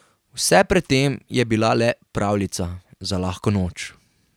Vse pred tem je bila le pravljica za lahko noč.